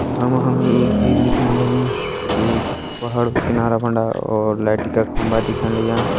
यखा मा हमि एक झील दिखेण लगीं जु एक पहाड़ कु किनारा फंडा और लाईट का खम्बा दिखेण लग्यां ।